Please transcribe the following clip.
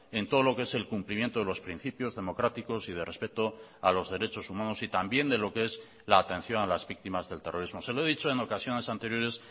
en todo lo que es el cumplimiento de los principios democráticos y de respeto a los derechos humanos y también de lo que es la atención a las víctimas del terrorismo se lo he dicho en ocasiones anteriores